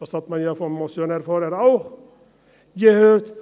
Das hat man ja vom Motionär vorhin auch gehört.